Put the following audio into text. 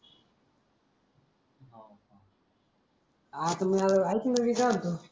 आ त मंग एक ना मी काय म्हणतो